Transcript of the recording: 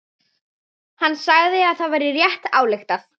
Hann sagði að það væri rétt ályktað.